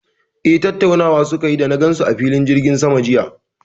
Eh, tattaunawa su ke yi da na gan su a filin jirgin sama jiya